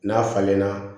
N'a falenna